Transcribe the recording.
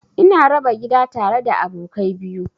Ina raba gida tare da abokai biyu.